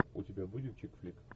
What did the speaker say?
у тебя будет чик флик